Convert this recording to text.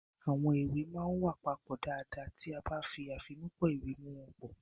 Àwọn ìwé máa ń wà papọ̀ dáadáa ti a ba fi afimupo iwe mu won po.